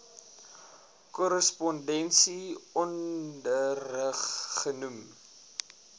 korrespondensie onderrig genoem